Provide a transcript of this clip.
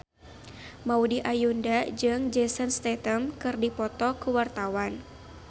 Maudy Ayunda jeung Jason Statham keur dipoto ku wartawan